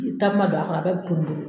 Ni takuma don a kɔrɔ, a bɛ bi porun porun